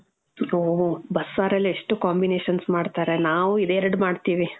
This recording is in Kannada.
ಓ, ಬಸ್ಸಾರಲ್ಲೆ ಎಷ್ಟು combinations ಮಾಡ್ತಾರೆ. ನಾವು ಇದೆರಡು ಮಾಡ್ತೀವಿ.